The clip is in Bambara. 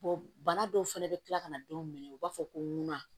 bana dɔw fɛnɛ bɛ kila ka na denw minɛ u b'a fɔ ko munna